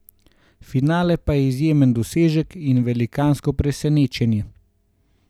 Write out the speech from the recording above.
Finale pa je izjemen dosežek in velikansko presenečenje.